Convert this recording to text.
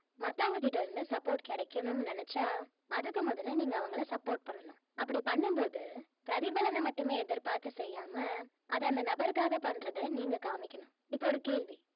மத்தவங்க கிட்ட இருந்து support கிடைக்கணும்னு நினைச்சா அதுக்கு முதல்ல நீங்க அவங்கள support பண்ணனும் அப்படி பண்ணும் போது பிரதிபலனை மட்டுமமே எதிர் பார்த்து செய்யாம அது அந்த நபருக்காக பண்றத நீங்க காமிக்கணும் இப்ப ஒரு கேள்வி